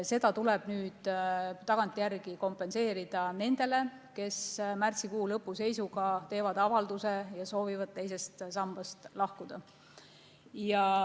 See tuleb nüüd tagantjärele kompenseerida nendele, kes märtsikuu lõpu seisuga teevad avalduse ja soovivad teisest sambast lahkuda.